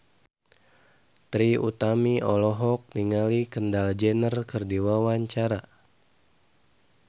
Trie Utami olohok ningali Kendall Jenner keur diwawancara